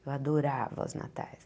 Eu adorava os natais.